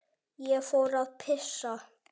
Ég fór að pissa.